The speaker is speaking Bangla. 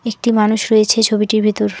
একটি মানুষ রয়েছে ছবিটির ভেতর।